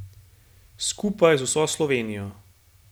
Skupaj z vso Slovenijo.